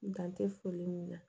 Dan tɛ foli min na